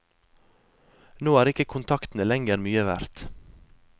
Nå er ikke kontaktene lenger mye verdt.